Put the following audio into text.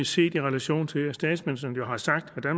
set i relation til at statsministeren jo har sagt at